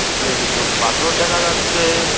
উপরে কিছু পাথর দেখা যাচ্ছে।